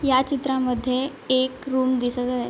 ह्या चित्रामध्ये एक रूम दिसत आहे.